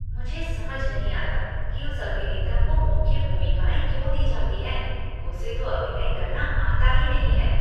मुझे समझ नहीं आता कि उस अभिनेता को मुख्य भूमिकाएँ क्यों दी जाती हैं। उसे तो अभिनय करना आता ही नहीं है।